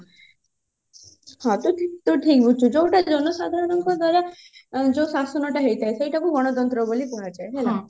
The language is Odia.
ହଁ ତୁ ଠିକ ତୁ ଠିକ ବୁଝିଛୁ ଯୋଉଟା ଜନସାଧାରଣଙ୍କ ଦ୍ଵାରା ଯୋଉ ଶାସନ ଟା ହେଇଥାଏ ସେଇଟା କୁ ଗଣଶାସନ ବୋଲି କୁହାଯାଏ ହେଲା